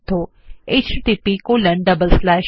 httpspoken tutorialorgNMEICT Intro য়